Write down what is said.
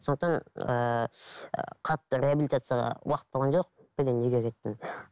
сондықтан ыыы қатты реабилитацияға уақыт болған жоқ бірден үйге кеттім